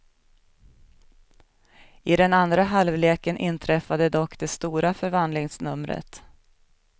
I den andra halvleken inträffade dock det stora förvandlingsnumret.